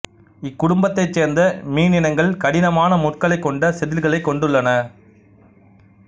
இக் குடும்பத்தைச் சேர்ந்த மீனினங்கள் கடினமான முட்களைக் கொண்ட செதில்களைக் கொண்டுள்ளன